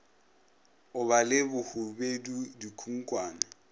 go ba le bohubedu dikhunkhwane